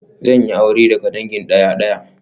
Zan yi aure daga dangin daya-daya